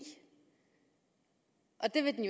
det vil den